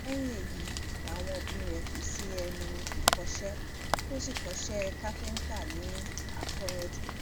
lẹ́yìn èyí làwọn òbí rẹ̀ fi sẹ́nu ẹ̀kọ́ṣe tó sì kọ́ iṣẹ́ káfíńtà ní akóyanjú